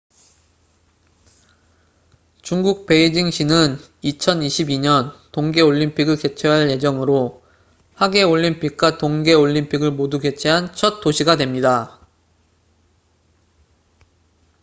중국 베이징 시는 2022년 동계 올림픽을 개최할 예정으로 하계 올림픽과 동계 올림픽을 모두 개최한 첫 도시가 됩니다